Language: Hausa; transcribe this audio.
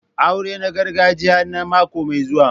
Aurena gargajiya na mako mai zuwa.